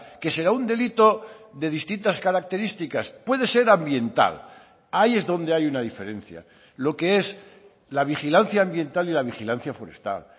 que será un delito de distintas características puede ser ambiental ahí es donde hay una diferencia lo que es la vigilancia ambiental y la vigilancia forestal